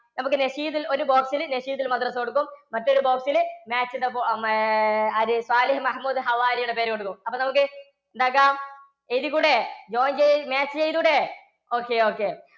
നമുക്ക് ഒരു box ല് കൊടുക്കും. മറ്റൊരു box ല് match the fo~ മാ~ ആര് സ്വാലിഹ് മഹമൂദ്‌ ഹവാരിയുടെ പേര് കൊടുക്കുന്നു. അപ്പൊ നമുക്ക് എന്താക്കാം? എഴുതിക്കൂടെ? join ചെയ്~ match ചെയ്തൂടെ? ok ok.